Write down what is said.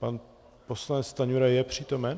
Pan poslanec Stanjura je přítomen?